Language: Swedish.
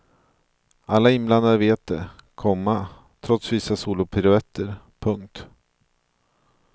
Alla inblandade vet det, komma trots vissa solopiruetter. punkt